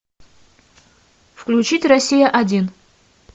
включить россия один